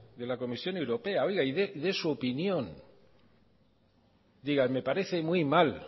de la comisión europea y dé su opinión me parece muy mal